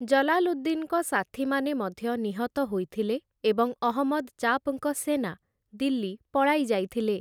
ଜଲାଲୁଦ୍ଦିନ୍‌ଙ୍କ ସାଥୀମାନେ ମଧ୍ୟ ନିହତ ହୋଇଥିଲେ ଏବଂ ଅହମ୍ମଦ୍‌ ଚାପ୍‌ଙ୍କ ସେନା ଦିଲ୍ଲୀ ପଳାଇ ଯାଇଥିଲେ ।